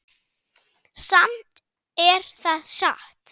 Samt er það satt.